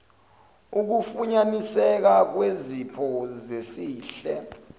ukufunyaniseka kwezipho zesihle